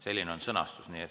Selline on sõnastus.